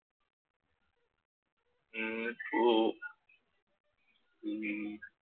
ഇന്നിപ്പോ ഉം